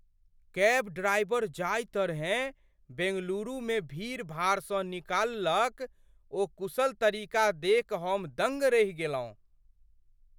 Cab driver जाहि तरहेँ बेंगलुरुमे भीड़ भाड़सँ निकलल ओ कुशल तरीका देखि हम दङ्ग रहि गेलहुँ।